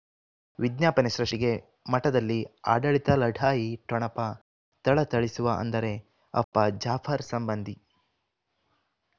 ವಿಜ್ಞಾಪನೆ ಸೃಷ್ಟಿಗೆ ಮಠದಲ್ಲಿ ಆಡಳಿತ ಲಢಾಯಿ ಠೊಣಪ ಥಳಥಳಿಸುವ ಅಂದರೆ ಅಪ್ಪ ಜಾಫರ್ ಸಂಬಂಧಿ